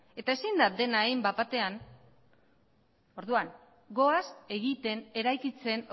eta ezin da dena egin bat batean orduan goaz egiten eraikitzen